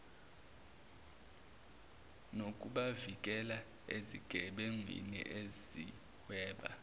nokubavikela ezigebengwini ezihweba